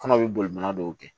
Kɔnɔ bɛ boli mana dɔw kɛ